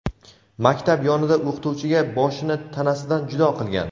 maktab yonida o‘qituvchiga boshini tanasidan judo qilgan.